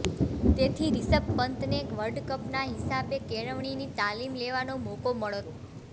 તેથી રિષભ પંતને વર્લ્ડ કપના હિસાબે કેળવણીની તાલીમ લેવાનો મોકો મળત